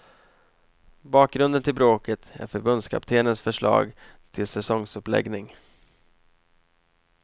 Bakgrunden till bråket är förbundskaptenens förslag till säsongsuppläggning.